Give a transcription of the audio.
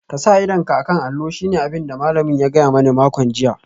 Ka sa ido a kan allo shine abin da malamina ya gaya mani a makon jiya